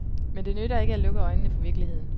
Men det nytter ikke at lukke øjnene for virkeligheden.